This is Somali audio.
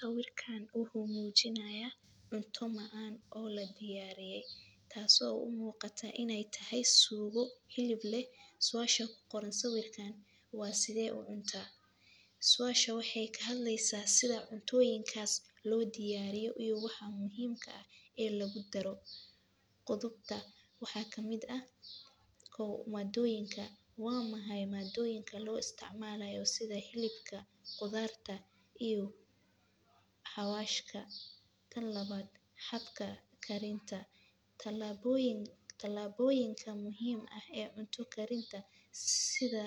Sawirkan waxuu muujinaya cunto macaan oo ladiyariyay taaso u muuqata inay tahay suugo hilib leh suasha ku qoran sawirkan waa sidee u cuntaa. Suasha waxay kahadleysa sida cuntooyinka loodiyariyo iyo waxa muhiimka ah ee lagudaro qudubta waxaa kamid ah maadoyinka waa maxay maadooyinka lo isticmalayo sida hilibka qudarta iyo xawashka kan lawaad habka karinta talaaboyin muhiimka ah ee cunta karinta sida